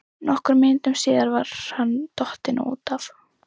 Nokkrum mínútum síðar var hann dottinn út af.